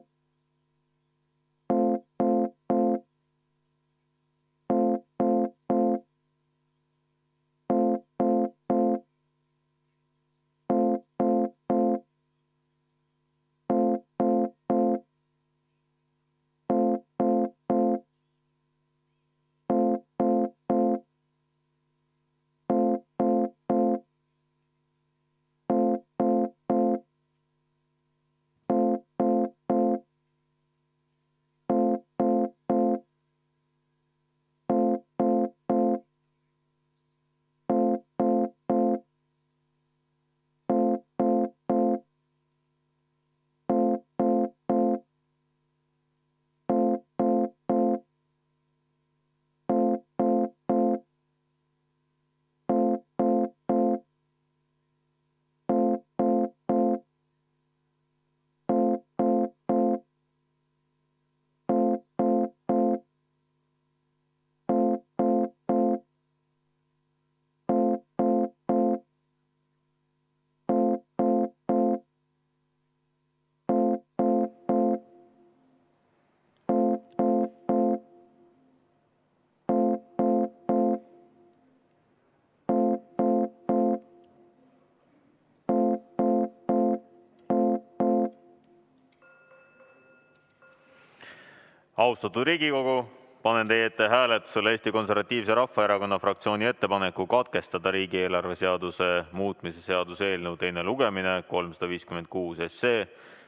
V a h e a e g Austatud Riigikogu, panen teie ette hääletusele Eesti Konservatiivse Rahvaerakonna fraktsiooni ettepaneku katkestada riigieelarve seaduse muutmise seaduse eelnõu 356 teine lugemine.